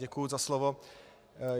Děkuji za slovo.